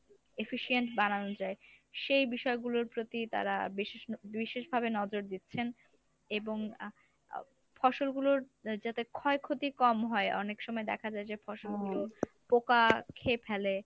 efficient